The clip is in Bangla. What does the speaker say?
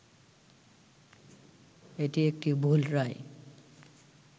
এটি একটি ‘ভুল’ রায়